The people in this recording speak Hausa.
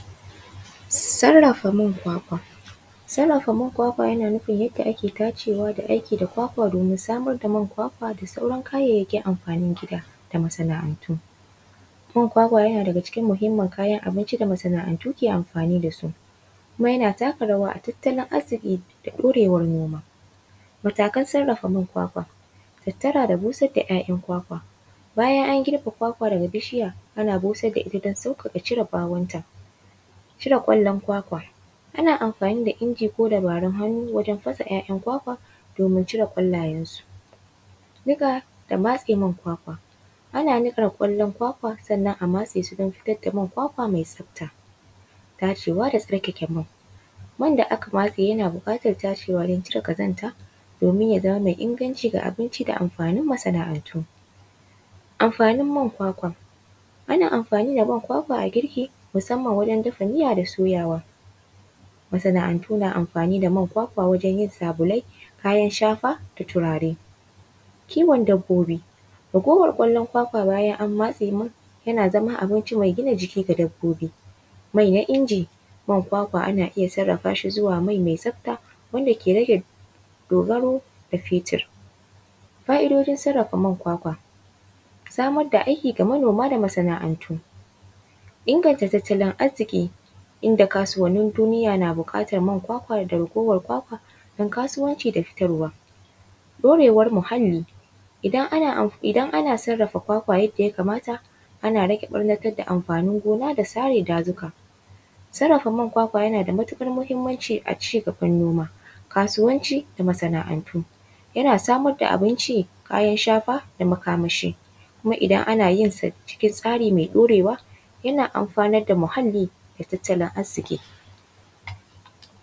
Sarrafa man kwakwa. Sarrafa man kwakwa yana nufin yadda ake tacewa da aiki da kwakwa domin samar da man kwakwa da sauran kayayyakin amfanin gida da masana’antu. Man kwakwa yana daga cikin muhimmin kayan abinci da masana’antu ke amfani da su, kuma yana taka rawa a tattalin arziƙi da ɗorewar noma. Matakan sarrafa man kwakwa: tattara da busar da ‘ya’yan kwakwa, bayan an girbe kwakwa daga bishiya, ana busar da ita don sauƙaƙa cire ɓawonta. Cire ƙwallon kwakwa ana amfani da inji ko dabarun hannu wajen fasa ‘ya’yan kwakwa domin cire ƙwallayensu. Niƙa da matse man kwakwa, ana niƙar kwallon kwakwa sannan a matse su don fitar da man kwakwa mai tsafta. Tacewa da tsarkake man, man da aka matse yana buƙatar tacewa don cire ƙazanta domin ya zama mai inganci ga abinci da amfanin masana’antu. Amfanin man kwakwa: ana amfani da man kwakwa a girki, musamman wajen dafa miya da soyawa. Masana’antu na amfani da man kwakwa wajen yin sabulai, kayan shafa da turare. Kiwon dabbobi, ragowar ƙwallon kwakwa bayan an matse man, yana zama mai gina jiki ga dabbobi, mai na inji, man kwakwa ana iya sarrafa shi zuwa mai mai tsafta wanda ke rage dogaro da fetur. Fa’idojin sarrafa man kwakwa: samar da aiki ga manoma da masana’antu, inganta tattalin arziƙi, inda kasuwannin duniya na buƙatar man kwakwa da ragowar kwakwa don kasuwanci da fitarwa. Ɗorewar muhalli, idan ana sarrafa kwakwa yadda ya kamata, ana rage ɓarnatar da amfanin gona da sare dazuka. Sarrafa man kwakwa yana da matuƙar muhimmanci a ci gaban noma, kasuwanci da masana’antu. Yana samar da abin ci, kayan shafa da makamashi. Kuma idan ana yin sa cikin tsari mai ɗorewa, yana amfanarda muhallli da tattalin arziƙi